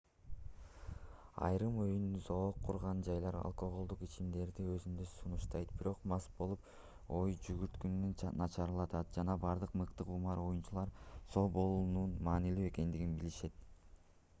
айрым оюн-зоок курган жайлар алкоголдук ичимдиктерди өзүндө сунуштайт бирок мас болуу ой жүгүртүүнү начарлатат жана бардык мыкты кумар оюнчулар соо болуунун маанилүү экендигин билишет